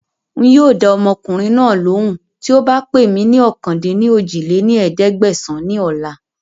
Ń yìí ó dáa ọmọkùnrin náà lóhùn tíì ó bá pè mí ní ọ̀kan-dín-ní-ojì lé ní ẹ̀ẹ́dẹ́gbẹ́sán ni ọ̀la